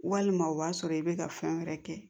Walima o b'a sɔrɔ i bɛ ka fɛn wɛrɛ kɛ